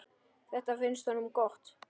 Þetta finnst honum gott.